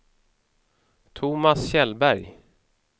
Thomas Kjellberg